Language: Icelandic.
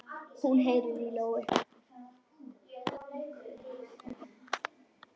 Hún heyrir í lóu.